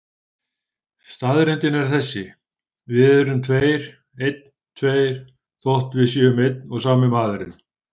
Staðreyndin er þessi: Við erum tveir, einn, tveir, þótt við séum einn og sami maðurinn.